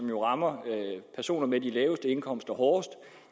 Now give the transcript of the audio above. jo rammer personer med de laveste indkomster hårdest